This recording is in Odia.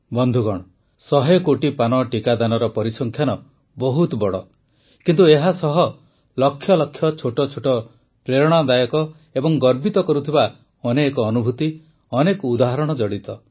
ବନ୍ଧୁଗଣ ୧୦୦ କୋଟି ପାନ ଟିକାଦାନର ପରିସଂଖ୍ୟାନ ବହୁତ ବଡ କିନ୍ତୁ ଏହା ସହ ଲକ୍ଷ ଲକ୍ଷ ଛୋଟ ଛୋଟ ପ୍ରେରଣାଦାୟକ ଏବଂ ଗର୍ବିତ କରୁଥିବା ଅନେକ ଅନୁଭୂତି ଅନେକ ଉଦାହରଣ ଜଡ଼ିତ